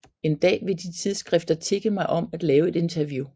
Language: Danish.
En dag vil de tidsskrifter tigge mig om at lave et interview